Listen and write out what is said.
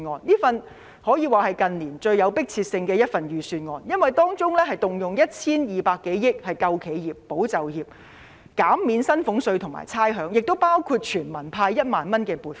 這份可算是近年最有迫切性的預算案，因為當中動用 1,200 多億元"救企業，保就業"，減免薪俸稅和差餉，亦包括全民派發1萬元。